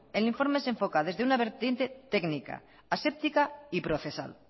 el informe se enfoca desde una vertiente técnica aséptica y procesal